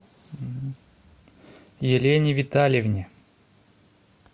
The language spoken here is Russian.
елене витальевне